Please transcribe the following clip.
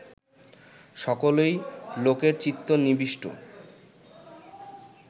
সকলেই লোকের চিত্ত নিবিষ্ট